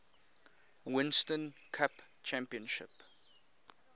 winston cup championship